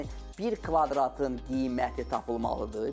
Yəni bir kvadratın qiyməti tapılmalıdır.